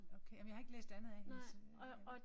Okay ej men jeg har ikke læst andet af hendes øh